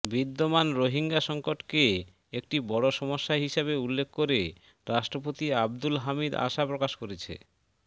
বিদ্যমান রোহিঙ্গা সংকটকে একটি বড় সমস্যা হিসাবে উল্লেখ করে রাষ্ট্রপতি আবদুল হামিদ আশা প্রকাশ করেছে